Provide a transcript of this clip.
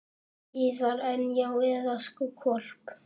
En. já, eða sko hvolp.